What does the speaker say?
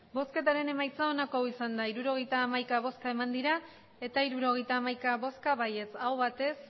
emandako botoak hirurogeita hamaika bai hirurogeita hamaika aho batez